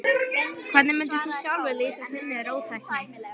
Hvernig mundir þú sjálfur lýsa þinni róttækni?